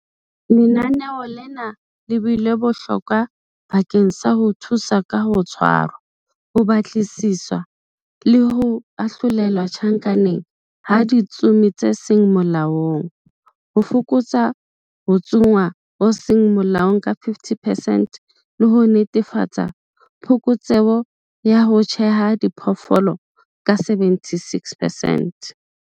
Lenaneo lena le bile bohlokwa bakeng sa ho thusa ka ho tshwarwa, ho batlisiswa le ho ahlolelwa tjhankaneng ha ditsomi tse seng molaong, ho fokotsa ho tsongwa ho seng molaong ka 50 percent, le ho netefatsa phokotseho ya ho tjheha diphoofolo ka 76 percent.